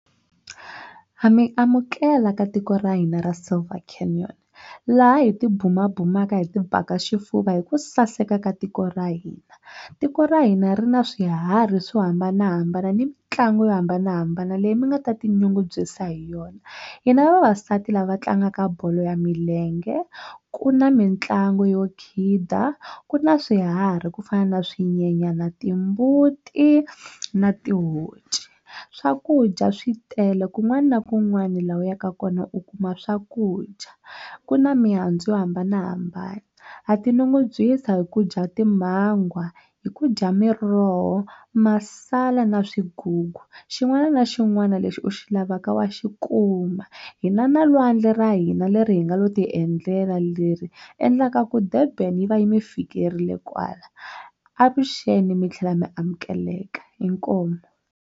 Ha mi amukela ka tiko ra hina ra laha hi ti bumabumelaka hi ti baka xifuva hi ku saseka ka tiko ra hina tiko ra hina ri na swiharhi swo hambanahambana ni mitlangu yo hambanahambana leyi mi nga ta tinyungubyisa hi yona hi na vavasati lava tlangaka bolo ya milenge ku na mitlangu yo khida ku na swiharhi ku fana na swinyenyana timbuti na tihonci swakudya swi tele kun'wana na kun'wana laha u yaka kona u kuma swakudya ku na mihandzu yo hambanahambana ha ti nyungubyisa hi ku dya timangwa hi ku dya miroho masala na swigugu xin'wana na xin'wana lexi u xi lavaka wa xi kuma hi na na lwandle ra hina leri hi nga lo ti endlela leri endlaka ku Durban yi va yi mi fikerile kwala avuxeni mi tlhela mi amukeleka inkomu.